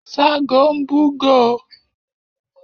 ságo ń bù góo